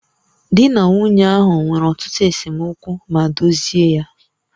Di na nwunye ahụ nwere ọtụtụ esemokwu ma dozie ya